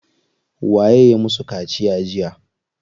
Waye ya musu kaciya jiya?